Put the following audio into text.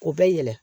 O bɛ yɛlɛ